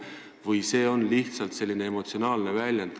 Või on see lihtsalt selline emotsionaalne väljend?